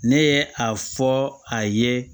Ne ye a fɔ a ye